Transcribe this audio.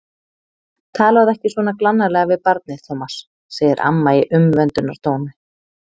Talaðu ekki svona glannalega við barnið, Tómas, segir amma í umvöndunartóni.